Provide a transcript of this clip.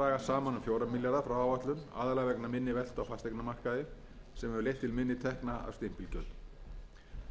minni veltu á fasteignamarkaði sem hefur leitt til minni tekna af stimpilgjöldum